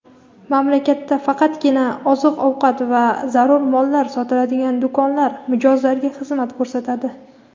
Mamlakatda faqatgina oziq-ovqat va zarur mollar sotiladigan do‘konlar mijozlarga xizmat ko‘rsatadi.